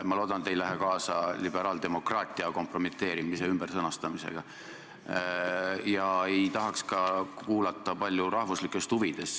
Ma loodan, et te ei lähe kaasa liberaaldemokraatia kompromiteeriva ümbersõnastamisega, ka ei tahaks palju kuulata juttu rahvuslikest huvidest.